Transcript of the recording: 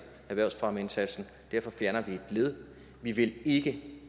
erhvervsfremmeindsatsen og derfor fjerner vi et led vi vil ikke